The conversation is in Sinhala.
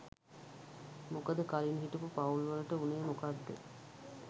මොකද කලින් හිටපු පවුල් වලට උනේ මොකද්ද